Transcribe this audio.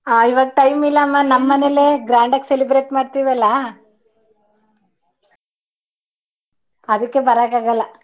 ಹ ಇವಾಗ time ಇಲ್ಲಮ್ಮ ನಮ್ಮನೇಲೆ grand ಗ್ celebrate ಮಾಡತಿವಲ್ಲ ಅದಿಕ್ಕೆ ಬರೋಕಾಗಲ್ಲ.